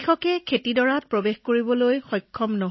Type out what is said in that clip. বৰষুণত খেতিপথাৰত প্ৰৱেশ কৰি খেতি চাবলৈ বৰ কষ্টকৰ